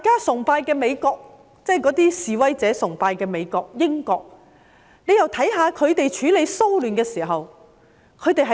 我們又看看示威者崇拜的美國和英國，是怎樣處理騷亂。